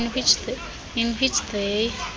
in which they